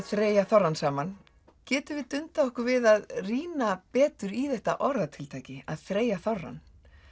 þreyja þorrann saman getum við dundað okkur við að rýna betur í þetta orðatiltæki að þreyja þorrann